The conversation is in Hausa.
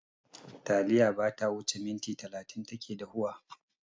Taliya bata wuce minti talatin take dahuwa.